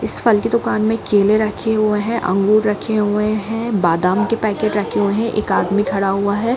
इस फल की दुकान में केले रखे हुए हैं अंगूर रखे हुए हैं बादाम के पैकेट रखे हुए हैं एक आदमी खड़ा हुआ है।